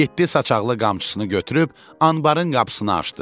Yeddi saçaqlı qamçısını götürüb anbarın qapısını açdı.